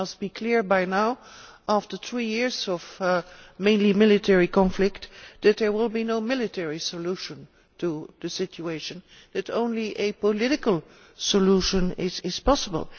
It must be clear by now, after three years of mainly military conflict, that there will be no military solution to the situation. Only a political solution is possible.